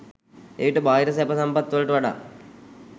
එවිට බාහිර සැප සම්පත් වලට වඩා